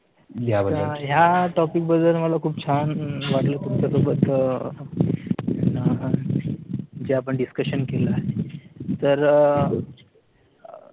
ह्या topic बद्दल मला खूप छान वाटलं तुमचा सोबत अह जे आपण discussion केला आहे तर अह